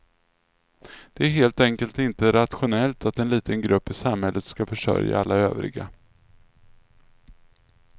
Det är helt enkelt inte rationellt att en liten grupp i samhället ska försörja alla övriga.